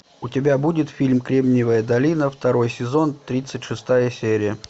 у тебя будет фильм кремниевая долина второй сезон тридцать шестая серия